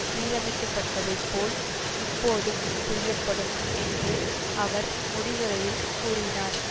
சீரமைக்கப்பட்டதைப் போல் இப்போதும் செய்யப்படும் என்று அவர் முடிவுரையில் கூறினார்